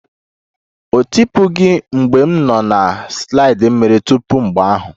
Ọ dịtụbeghị mgbe m nọ na slide mmiri tupu mgbe ahụ.